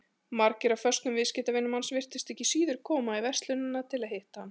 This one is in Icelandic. Margir af föstum viðskiptavinum hans virtust ekki síður koma í verslunina til að hitta hann.